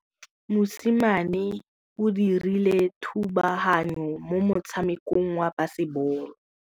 Mosimane o dirile thubaganyô mo motshamekong wa basebôlô.